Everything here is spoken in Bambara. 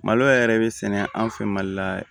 Malo yɛrɛ bɛ sɛnɛ an fɛ mali la yan